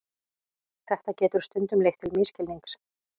Þetta getur stundum leitt til misskilnings.